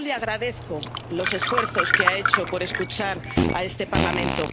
Y yo le agradezco los esfuerzos que ha hecho por escuchar a este Parlamento.